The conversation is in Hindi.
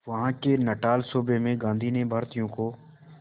वहां के नटाल सूबे में गांधी ने भारतीयों को